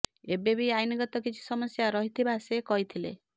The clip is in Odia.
ଏବେ ବି ଆଇନଗତ କିଛି ସମସ୍ୟା ରହିଥିବା ସେ କହିଥିଲେ